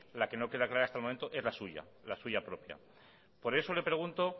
la que no queda clara hasta el momento es la suya la suya propia por eso le pregunto